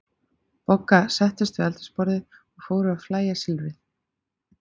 Bogga settust við eldhúsborðið og fóru að fægja silfrið.